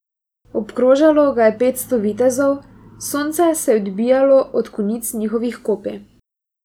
Obkrožalo ga je petsto vitezov, sonce se je odbijalo od konic njihovih kopij.